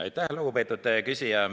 Aitäh, lugupeetud küsija!